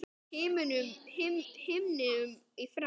himnum í frá